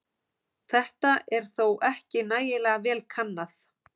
Þetta er þó ekki nægilega vel kannað.